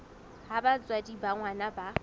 ha batswadi ba ngwana ba